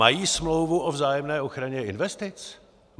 Mají smlouvu o vzájemné ochraně investic?